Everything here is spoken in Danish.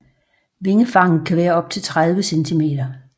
Vingefanget kan være op til 30 cm